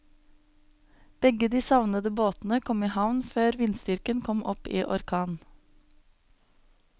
Begge de savnede båtene kom i havn før vindstyrken kom opp i orkan.